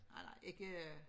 Nej nej ikke